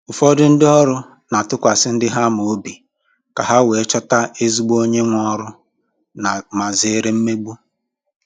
Ụfọdụ ndị ọrụ na-atụkwasị ndi ha ma obi ka ha wee chọta ezigbo onye nwe oru ma zere mmegbu